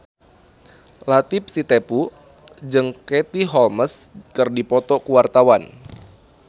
Latief Sitepu jeung Katie Holmes keur dipoto ku wartawan